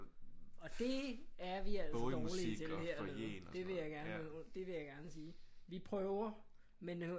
Og det er vi altså dårlige til hernede det vil jeg gerne det vil jeg gerne sige vi prøver men